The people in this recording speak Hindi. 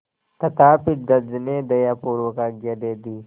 तथापि जज ने दयापूर्वक आज्ञा दे दी